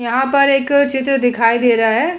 यहाँ पर एक चित्र दिखाई दे रहा है।